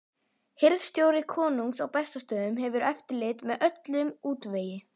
Hirðstjóri konungs á Bessastöðum hefur eftirlit með öllum útvegi.